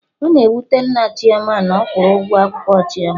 Ọ na-ewute Nna Chioma na ọ kwụrọ ụgwọ akwụkwọ Chioma